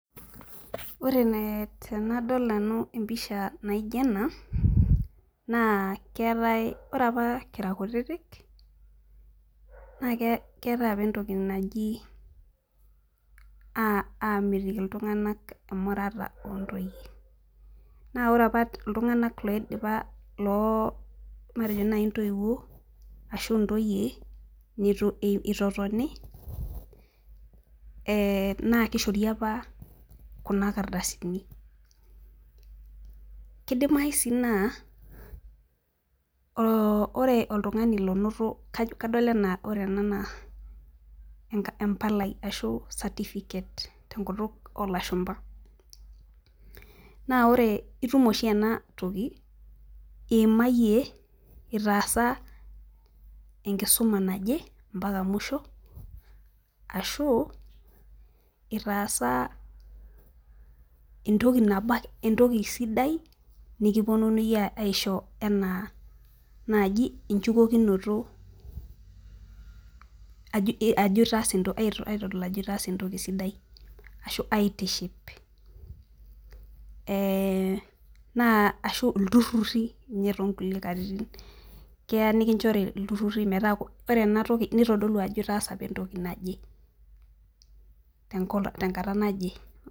Ore tenadol nanu empisha naijo ena, naa ore apa kira kutiti, naa keetae apa entoki naji aamitiki iltung'anak emurata oo ntoyie. Naa ore apa iltung'anak matejo ntoyie neitu eitotoni naa keishori apa kuna kardasini. Kidimayu sii naa ore oltung'ani onoto ena palai ashuu ena certificate tenkutuk oolashumba naa itumia oshi ena toki indipa enkisuma ashuu itaasa entoki sidai nikinchori aitiship ashuu ilturrurri ore ena toki nitodolu ajo itaasa entoki naje, te nkata naje.